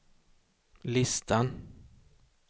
listan